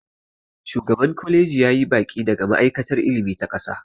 shugaban kwaliji ya yi baƙi daga ma'aikatar ilimi ta ƙasa